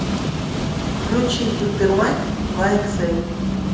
включи супер майк два икс эль